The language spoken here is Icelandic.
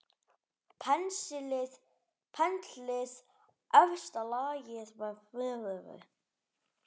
Penslið efsta lagið með smjöri.